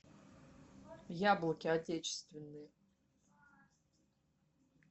яблоки отечественные